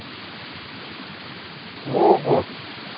Hårup